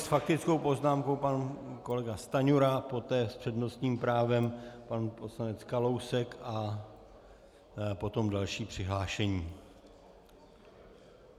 S faktickou poznámkou pan kolega Stanjura, poté s přednostním právem pan poslanec Kalousek a potom další přihlášení.